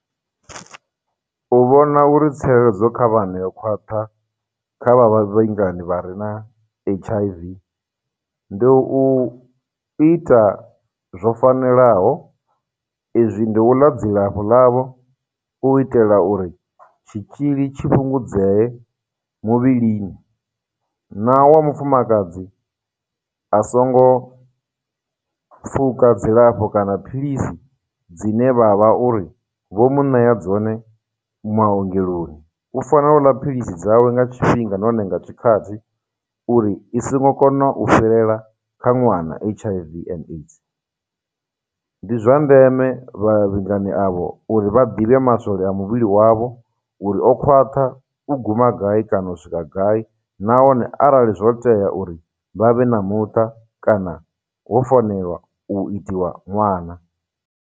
U vhona uri tsireledzo kha vhana yo khwaṱha kha vha vha re na H_I_V ndi u ita zwo fanelaho, i zwi ndi u ḽa dzilafho ḽavho u itela uri tshitzhili tshi fhungudzee muvhilini, na wa mufumakadzi a songo pfhuka dzilafho kana philisi dzine vha vha uri vho mu ṋea dzone maongeloni, u fanela u ḽa philisi dzawe nga tshifhinga nahone nga tshikhathi uri, i songo kona u fhirela kha ṅwana H_I_V and AIDS. Ndi zwa ndeme vhavhingani avho uri vha ḓivhe maswole a muvhili wavho uri o khwaṱha u guma gai kana u swika gai, nahone arali zwo tea uri vha vhe na muṱa, kana ho fanela u itiwa ṅwana.